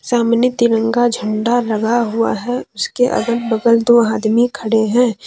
सामने तिरंगा झंडा लगा हुआ है उसके अगल- बगल दो आदमी खड़े हैं।